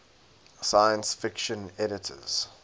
science fiction editors